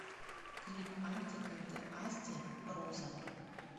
клип артик энд асти роза